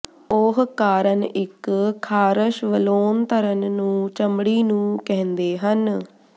ਉਹ ਕਾਰਨ ਇੱਕ ਖ਼ਾਰਸ਼ ਵਲੋਨਧਰਨ ਨੂੰ ਚਮੜੀ ਨੂੰ ਕਹਿੰਦੇ ਹਨ